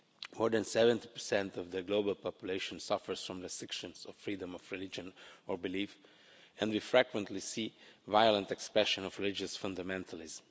More than 70 of the global population suffers from restrictions of freedom of religion or belief, and we frequently see violent expressions of religious fundamentalism.